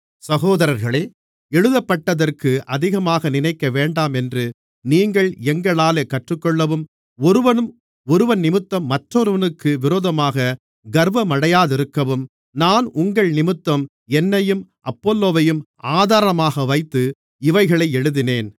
சகோதரர்களே எழுதப்பட்டதற்கு அதிகமாக நினைக்கவேண்டாமென்று நீங்கள் எங்களாலே கற்றுக்கொள்ளவும் ஒருவனும் ஒருவனிமித்தம் மற்றொருவனுக்கு விரோதமாக கர்வமடையாதிருக்கவும் நான் உங்கள்நிமித்தம் என்னையும் அப்பொல்லோவையும் ஆதாரமாக வைத்து இவைகளை எழுதினேன்